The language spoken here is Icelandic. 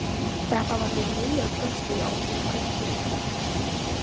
Þetta var nú meira bröltið á okkur mæðginunum.